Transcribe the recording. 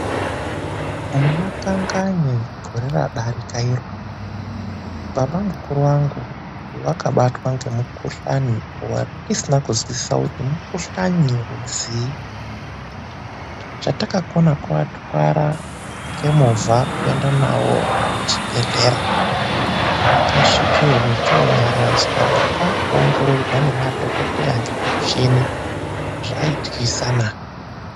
Muna Kanganye gore radarika iro, baba mukuru vangu vakabatwa nemukuhlani watisina kunzwisisisa kuti mukuhlani werudzii. Chatakona, kuvatwara ngemovha kuenda navo kuchibhedhlera kwavakasvika vochonyaradzwa, kwakuongororwa nemadhokoteya nemichini zvaityisa naa!